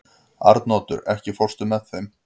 Arnoddur, ekki fórstu með þeim?